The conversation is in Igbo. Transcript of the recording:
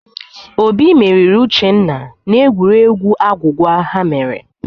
Obi meriri Uchenna n'egwuregwu agwụgwa ha mere.